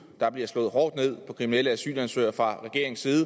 der bliver slået hårdt ned på kriminelle asylansøgere fra regeringens side